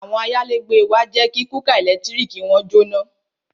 Àwọn ayálégbé wa jẹ́ kí kúkà ẹ̀lẹ́tíríkì wọn jóná